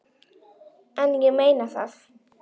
En ég meina það.